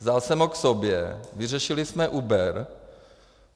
Vzal jsem ho k sobě, vyřešili jsem Uber.